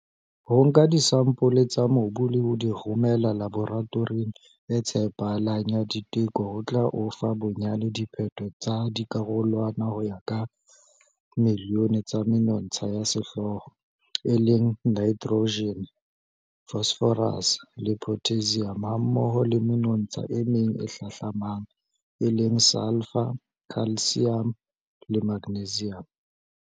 Ho nka disampole tsa mobu le ho di romela laboratoring e tshepahalang ya diteko ho tla o fa bonyane diphetho tsa dikarolwana ho ya ka milione tsa menontsha ya sehlooho, e leng nitrogen, N, phosphorus, P, le potassium hammoho le menontsha e meng e hlahlamang, e leng sulphur, calcium le magnesium.